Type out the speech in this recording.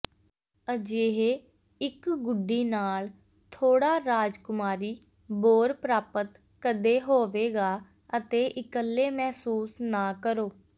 ਅਜਿਹੇ ਇੱਕ ਗੁੱਡੀ ਨਾਲ ਥੋੜਾ ਰਾਜਕੁਮਾਰੀ ਬੋਰ ਪ੍ਰਾਪਤ ਕਦੇ ਹੋਵੇਗਾ ਅਤੇ ਇਕੱਲੇ ਮਹਿਸੂਸ ਨਾ ਕਰੋ